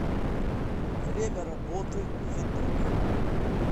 время работы едок